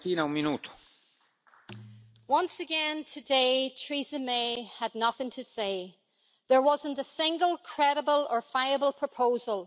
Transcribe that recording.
Mr President, once again today, Theresa May had nothing to say. There was not a single credible or viable proposal.